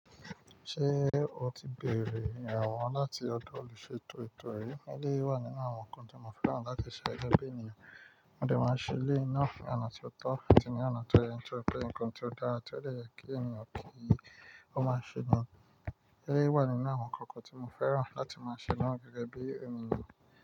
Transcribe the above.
Ṣé o ti bèrè ìrànwọ́ láti ọ̀dọ̀ olùṣètò ètò ri? Eleyii wà nínú àwọn nǹkan tí mo fẹ́ràn láti ṣe gẹ́gẹ́ bí ènìyàn. Mo de máa ń ṣẹ eleyii ná ni ona tí ó tọ́, atí ni ona tó yẹ nitori pẹ́ nǹkan tí o dára tí ó de yẹ kí ènìyàn kí i. Ó máa ń ṣẹ ní eleyi wa ninu awon ǹkan kan tí mo fẹ́ràn láti máa ṣẹlẹ̀ ná gẹ́gẹ́ bí ènìyàn.